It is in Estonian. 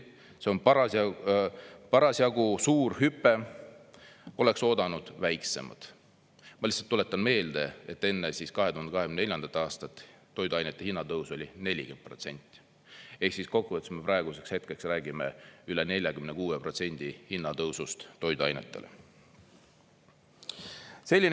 "See on parasjagu suur hüpe, oleks oodanud väiksemat " Ma lihtsalt tuletan meelde, et enne 2024. aastat toiduainete hinnatõus oli 40% ehk siis kokkuvõttes me praeguseks hetkeks räägime üle 46% hinnatõusust toiduainetele. "